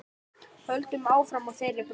Höldum áfram á þeirri braut.